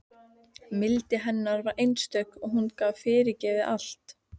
Mildi hennar var einstök og hún gat fyrirgefið allt.